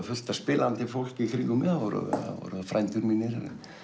fullt af spilandi fólki í kringum mig það voru frændur mínir